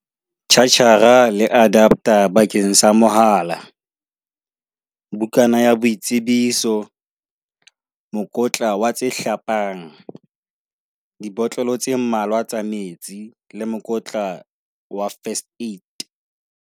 Charger-a le adapt-a bakeng sa mohala. Bukana ya boitsebiso, mokotla wa tse hlapang, di botlolo tse mmalwa tsa metsi le mokotla wa first aid.